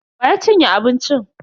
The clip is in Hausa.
Wa ya cinye abincin?